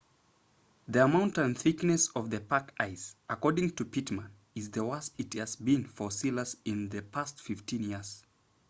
the amount and thickness of the pack ice according to pittman is the worst it has been for sealers in the past 15 years